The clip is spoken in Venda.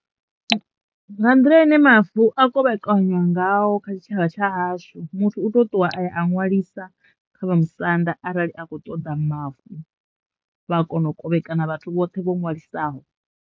Nga nḓila ine mavu a kovhekanywa ngao kha tshitshavha tsha hashu muthu u to ṱuwa aya a ṅwalisa kha vhamusanda arali a kho ṱoḓa mavu vha kono kovhekana vhathu vhoṱhe vho ṅwalisaho.